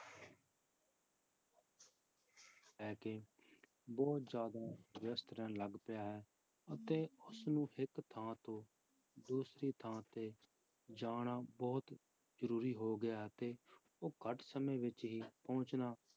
ਹੈ ਕਿ ਬਹੁਤ ਜ਼ਿਆਦਾ ਵਿਅਸਤ ਰਹਿਣ ਲੱਗ ਪਿਆ ਹੈ ਅਤੇ ਉਸਨੂੰ ਇੱਕ ਥਾਂ ਤੋਂ ਦੂਸਰੀ ਥਾਂ ਤੇ ਜਾਣਾ ਬਹੁਤ ਜ਼ਰੂਰੀ ਹੋ ਗਿਆ ਅਤੇ ਉਹ ਘੱਟ ਸਮੇਂ ਵਿੱਚ ਹੀ ਪਹੁੰਚਣਾ